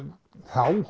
þá